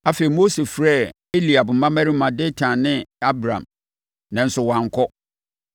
Afei Mose frɛɛ Eliab mmammarima Datan ne Abiram, nanso wɔankɔ.